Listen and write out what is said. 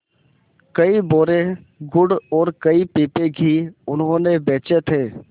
कई बोरे गुड़ और कई पीपे घी उन्होंने बेचे थे